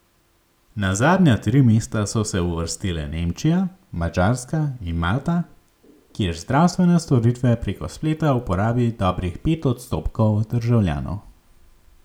Na zadnja tri mesta so se uvrstile Nemčija, Madžarska in Malta, kjer zdravstvene storitve preko spleta uporabi dobrih pet odstotkov državljanov.